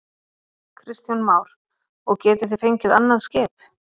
Kristján Már: Og getið þið fengið annað skip?